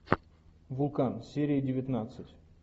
вулкан серия девятнадцать